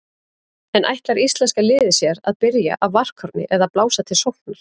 En ætlar íslenska liðið sér að byrja af varkárni eða blása til sóknar?